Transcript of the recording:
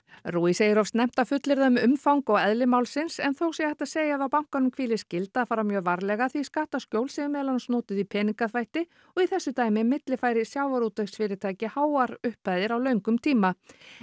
rui segir of snemmt að fullyrða um umfang og eðli málsins en þó sé hægt að segja að á bankanum hvíli skylda að fara mjög varlega því skattaskjól séu meðal annars notuð í peningaþvætti og í þessu dæmi millifæri sjávarútvegsfyrirtæki háar upphæðir millifærðar á löngum tíma